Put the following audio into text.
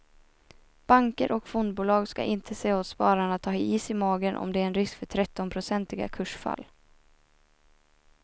Banker och fondbolag ska inte säga åt spararna att ha is i magen om det är en risk för trettionprocentiga kursfall.